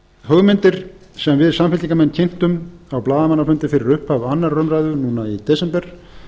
hugmyndir sem við samfylkingarmenn kynntum á blaðamannafundi fyrir upphaf annarrar umræðu núna í desember